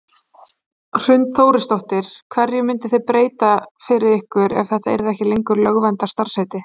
Hrund Þórsdóttir: Hverju myndi það breyta fyrir ykkur ef þetta yrði ekki lengur lögverndað starfsheiti?